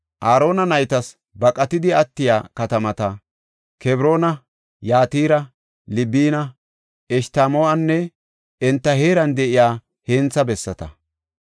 Aarona naytas baqatidi attiya katamata, Kebroona, Yatira, Libina, Eshtamoo7anne enta heeran de7iya hentha bessata.